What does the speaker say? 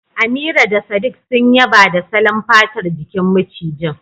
Amira da sadiq sun yaba da salon fatar jikin macijin